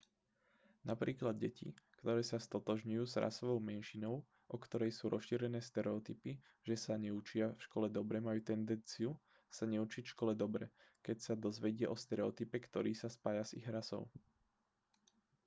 napríklad deti ktoré sa stotožňujú s rasovou menšinou o ktorej sú rozšírené stereotypy že sa neučia v škole dobre majú tendenciu sa neučiť v škole dobre keď sa dozvedia o stereotype ktorý sa spája s ich rasou